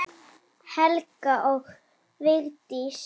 Helga og Vigdís.